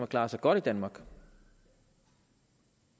klaret sig godt i danmark